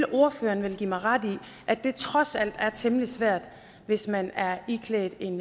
ordføreren vil vel give mig ret i at det trods alt er temmelig svært hvis man er iklædt en